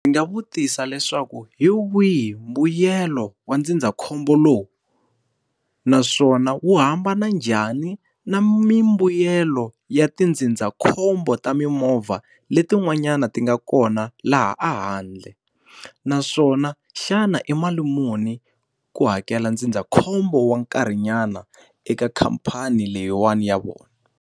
Ndzi nga vutisa leswaku hi wihi mbuyelo wa ndzindzakhombo lowu? Naswona wu hambana njhani na mimbuyelo ya tindzindzakhombo ta mimovha letin'wanyani ti nga kona laha ehandle? Naswona xana i mali muni ku hakela ndzindzakhombo wa nkarhinyana eka khamphani leyiwani ya vona?